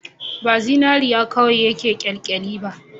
Ba zinariya kawai yake kyalkyali ba